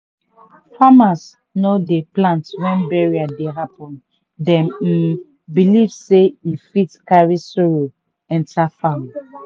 farmers no dey plant when burial dey happen dem um believe sey e fit carry sorrow enter farm.